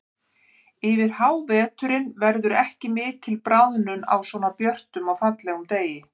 Yfir háveturinn verður ekki mikil bráðnun á svona björtum og fallegum degi.